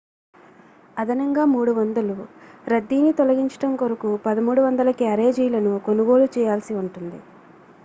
అదనంగా 300 రద్దీని తొలగించడం కొరకు 1,300 క్యారేజీలను కొనుగోలు చేయాల్సి ఉంటుంది